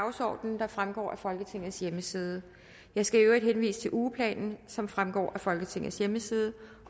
dagsorden der fremgår af folketingets hjemmeside jeg skal i øvrigt henvise til ugeplanen som fremgår af folketingets hjemmeside